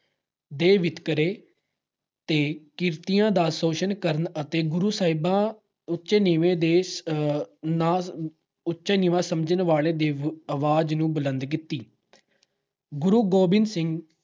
ਦੇ ਵਿਤਕਰੇ ਤੇ ਕਿਰਤੀਆਂ ਦਾ ਸ਼ੋਸ਼ਣ ਕਰਨ ਅਤੇ ਗੁਰੂ ਸਾਹਿਬਾਂ ਉਚੇ-ਨੀਵੇਂ ਦੇ ਅਹ ਉਚਾ-ਨੀਵਾਂ ਸਮਝਣ ਵਾਲੇ ਆਹ ਦੀ ਆਵਾਜ ਨੂੰ ਬੁਲੰਦ ਕੀਤੀ। ਗੁਰੂ ਗੋਬਿੰਦ ਸਿੰਘ